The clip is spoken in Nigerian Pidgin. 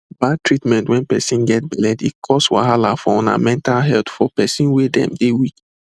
bad treatment wen person get belle dey cause wahala for una mental healthfor person wey them dey weak